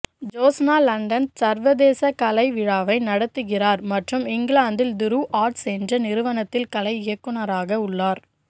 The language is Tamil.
ஜோத்ஸ்னா லண்டன் சர்வதேச கலை விழாவை நடத்துகிறார் மற்றும் இங்கிலாந்தில் துருவ் ஆர்ட்ஸ் என்ற நிறுவனத்தின் கலை இயக்குநராக உள்ளார்